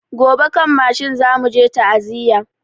Gobe kan mashin zamu je ta'aziya